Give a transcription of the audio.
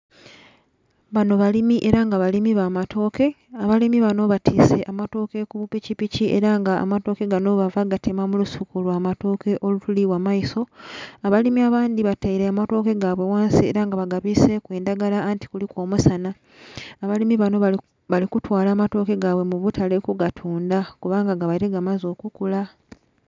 Banho balimi era nga balimi ba matoke, abalimu banho batwise amatoke ku bupikipiki era nga amatoke bava kugatema mu lusuku lwa matoke olutuli ghamaiso, abalimu abandhi bataire amatoke gaibwe ghansi era nga baga bwiseku endhagala anti kuliku omusanha. Abalimu banho bali kutwala matoke gaibwe mu butale ku gatundha kuba nga gabaire gamaze okukula.